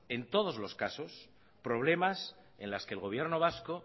en todos los caso problemas en los que el gobierno vasco